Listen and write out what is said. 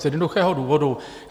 Z jednoduchého důvodu.